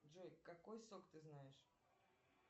джой какой сок ты знаешь